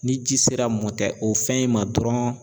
Ni ji sera o fɛn in ma dɔrɔn